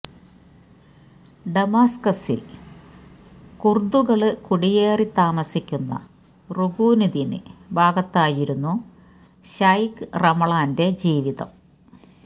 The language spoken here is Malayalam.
ഡമസ്കസില് കുര്ദുകള് കുടിയേറി താമസിക്കുന്ന റുകുനുദ്ദീന് ഭാഗത്തായിരുന്നു ശൈഖ് റമളാന്റെ ജീവിതം